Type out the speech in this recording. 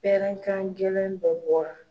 Pɛrɛnkan gɛlɛn dɔ bɔra.